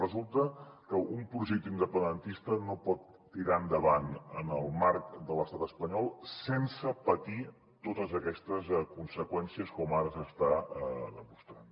resulta que un projecte independentista no pot tirar endavant en el marc de l’estat espanyol sense patir totes aquestes conseqüències com ara s’està demostrant